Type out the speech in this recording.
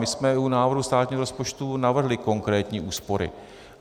My jsme u návrhu státního rozpočtu navrhli konkrétní úspory.